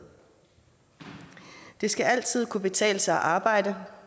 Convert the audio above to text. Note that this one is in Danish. det skal altid kunne betale sig at arbejde